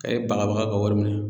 Ɛ bagabaga ka wari minɛ